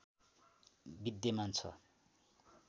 विद्यमान छ